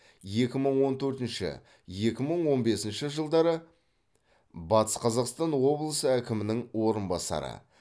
екі мың он төртінші екі мың он бесінші жылдары батыс қазақстан облысы әкімінің орынбасары